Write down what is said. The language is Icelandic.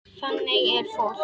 Þannig er fólk.